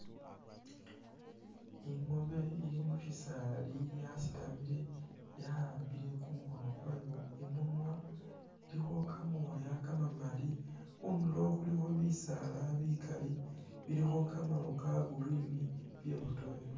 Ingoobe ili mushi saali yasitamile yawambile kumukhoono kwayo imunwa ilikho kamooya kamamali khundulo khulikho bisaala bikali bilikho kamaro.. ka green bibotokhelele